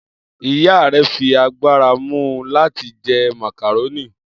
Iya rẹ fi agbara mu u lati jẹ macaroni.